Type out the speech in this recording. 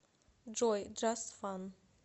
джой джаст фан